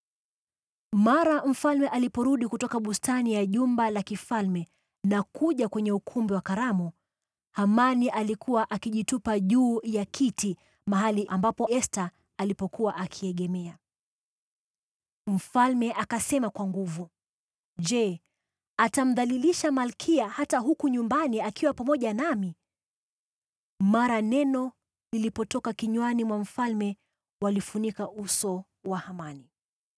Mara mfalme aliporudi kutoka bustani ya jumba la kifalme na kuja kwenye ukumbi wa karamu, Hamani alikuwa akijitupa juu ya kiti mahali ambapo Esta alikuwa akiegemea. Mfalme akasema kwa nguvu, “Je, atamdhalilisha malkia hata huku nyumbani akiwa pamoja nami!” Mara neno lilipotoka kinywani mwa mfalme, walifunika uso wa Hamani.